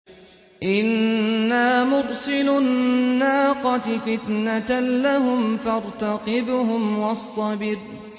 إِنَّا مُرْسِلُو النَّاقَةِ فِتْنَةً لَّهُمْ فَارْتَقِبْهُمْ وَاصْطَبِرْ